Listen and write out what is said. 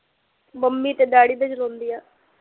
mummy ਤੇ daddy ਦਾ ਚਲਾਉਂਦੀ ਆ